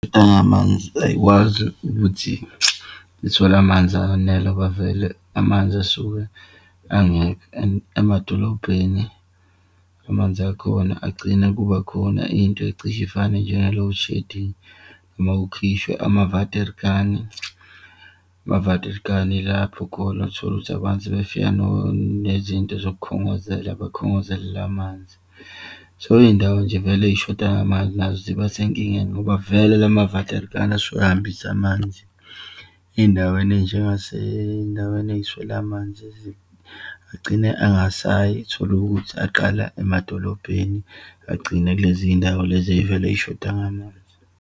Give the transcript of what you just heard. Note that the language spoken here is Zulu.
Nangamanzi ayikwazi ukuthi zithole amanzi anele ngoba vele amanzi asuke angekho and emadolobheni amanzi akhona agcine kubakhona into ecishe ifane njenge-loadshedding noma kukhishwe ama-water kani. Ama-water kani lapho khona utholukuthi abantu sebefika nezinto zokukhongozela, bakhongozelele amanzi. So, iyindawo nje vele eyishoda ngamanzi nazo ziba senkingeni, ngoba vele lama-water kani asuke ahambisa amanzi. Eyindaweni eyinjengaseyindaweni eyiswele amanzi , agcine angasayi, utholukuthi aqala emadolobheni agcine kulezindawo lezi eyivele yishoda ngamanzi.